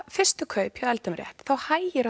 fyrstu kaup hjá eldum rétt þá hægir á